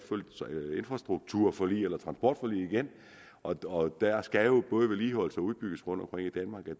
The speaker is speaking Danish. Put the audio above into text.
infrastrukturforlig eller transportforlig igen og der skal jo både vedligeholdes og udbygges rundtomkring i danmark og